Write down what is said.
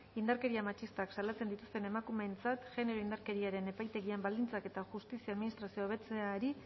indarkeria matxistak salatzen dituzten emakumeentzat genero indarkeriaren epaitegien baldintzak eta justizia administrazioa hobetzeari